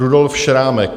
Rudolf Šrámek.